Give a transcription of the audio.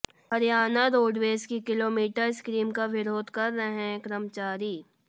Haryana roadways की kilometre scheme का विरोध कर रहे हैं कर्मचारी